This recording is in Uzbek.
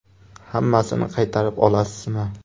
Hammasini qaytarib olasizmi?